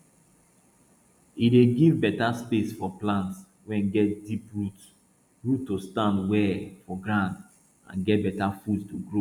e dey give beta space for plant wey get deep root root to stand well for ground and get beta food to grow